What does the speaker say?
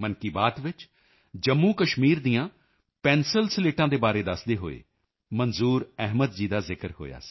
ਮਨ ਕੀ ਬਾਤ ਵਿੱਚ ਜੰਮੂਕਸ਼ਮੀਰ ਦੀਆਂ ਪੈਨਸਲਸਲੇਟਾਂ ਪੈਂਸਿਲ ਸਲੇਟਸ ਦੇ ਬਾਰੇ ਦੱਸਦੇ ਹੋਏ ਮੰਜ਼ੂਰ ਅਹਿਮਦ ਜੀ ਦਾ ਜ਼ਿਕਰ ਹੋਇਆ ਸੀ